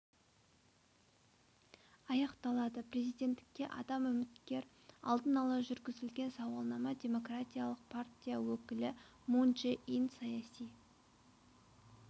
аяқталады президенттікке адам үміткер алдын ала жүргізілген сауалнама демократиялық партия өкілі мун чжэ ин саяси